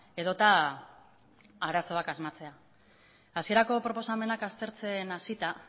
edota arazoak asmatzea hasierako proposamenak aztertzen hasita